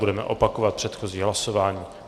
Budeme opakovat předchozí hlasování.